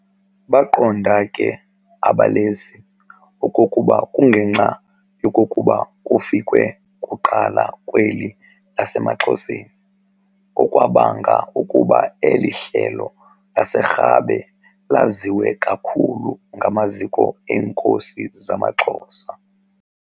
Baqonda ke abalesi okokuba kungenxa yokokuba kufikwe kuqala kweli lasemaXhoseni okwabanga ukuba eli Hlelo laseRhabe laziwe kakhulu kumaziko eenkosi zamaXhosa.